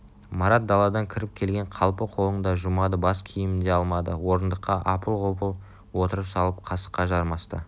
марат даладан кіріп келген қалпы қолын да жумады бас киімін де алмады орындыққа апыл-ғұпыл отыра салып қасыққа жармасты